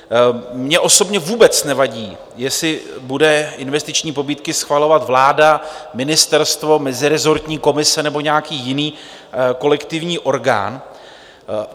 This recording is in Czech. Mně osobně vůbec nevadí, jestli bude investiční pobídky schvalovat vláda, ministerstvo, mezirezortní komise nebo nějaký jiný kolektivní orgán.